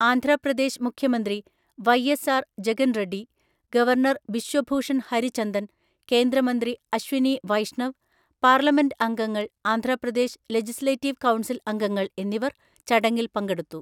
ആന്ധ്രാപ്രദേശ് മുഖ്യമന്ത്രി Y S R Jagan Reddy, governor Biswa Bhushan Harichandan, കേന്ദ്രമന്ത്രി Ashwini Vaishnaw, parliament അംഗങ്ങൾ, ആന്ധ്രാപ്രദേശ് ലെജിസ്ലേറ്റീവ് കൗൺസിൽ അംഗങ്ങൾ എന്നിവർ ചടങ്ങിൽ പങ്കെടുത്തു.